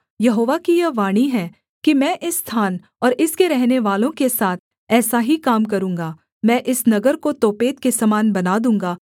यहोवा की यह वाणी है कि मैं इस स्थान और इसके रहनेवालों के साथ ऐसा ही काम करूँगा मैं इस नगर को तोपेत के समान बना दूँगा